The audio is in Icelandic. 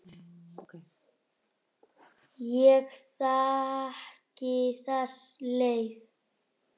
Ég þekki þessa leið.